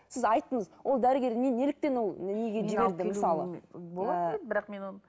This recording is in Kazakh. сіз айттыңыз ол дәрігер не неліктен ол неге болатын еді бірақ мен оны